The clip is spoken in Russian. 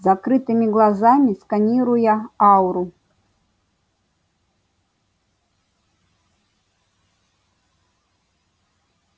с закрытыми глазами сканируя ауру